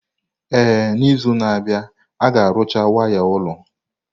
Ee, n'izu na-abịa, a ga-arụcha waya ụlọ.